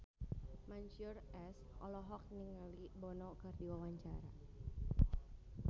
Mansyur S olohok ningali Bono keur diwawancara